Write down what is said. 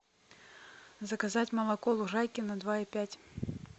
заказать молоко лужайкино два и пять